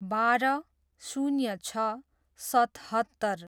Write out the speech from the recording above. बाह्र, शून्य छ, सतहत्तर